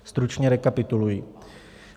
Stručně rekapituluji.